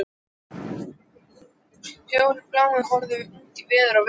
Fjórir bláir horfnir út í veður og vind!